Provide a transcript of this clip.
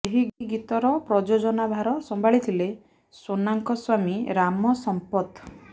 ଏହି ଗୀତର ପ୍ରଯୋଜନା ଭାର ସମ୍ଭାଳିଥିଲେ ସୋନାଙ୍କ ସ୍ୱାମୀ ରାମ ସମ୍ପଥ